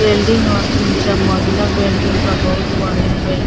building ह तीन चार मंजिला बिल्डिंग बहुत बढ़ियां बिल्डिंग --